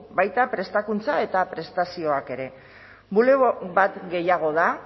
baita prestakuntza eta prestazioak ere bulego bat gehiago da